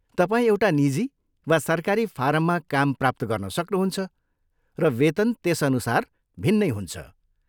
तपाईँ एउटा निजी वा सरकारी फारममा काम प्राप्त गर्न सक्नुहुन्छ, र वेतन त्यसअनुसार भिन्नै हुन्छ।